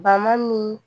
Bama min